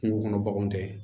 Kungo kɔnɔ baganw tɛ